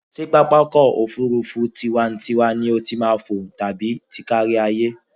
Ṣé pápákọ̀-òfurufú tiwa-n-tiwa ni o ti máa fò ni tàbí ti kárí-ayé?